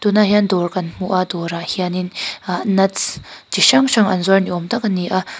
tunah hian dawr kan hmu a dawr ah hian in ahh nuts chi hrang hrang an zuar ni awm tak a ni a.